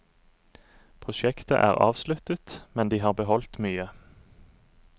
Prosjektet er avsluttet, men de har beholdt mye.